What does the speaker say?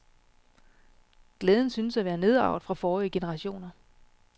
Glæden synes at være nedarvet fra forrige generationer.